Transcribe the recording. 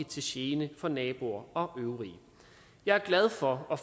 til gene for naboer og øvrige jeg er glad for at